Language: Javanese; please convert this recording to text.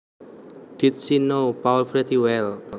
Did she know Paul pretty well